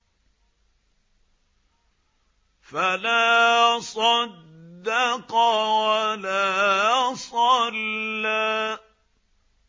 فَلَا صَدَّقَ وَلَا صَلَّىٰ